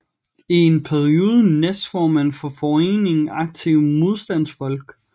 I en periode næstformand for foreningen Aktive Modstandsfolk